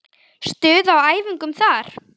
Stuð á æfingum þar!